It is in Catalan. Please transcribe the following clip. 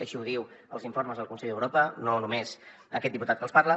així ho diuen els informes del consell d’europa no només aquest diputat que els parla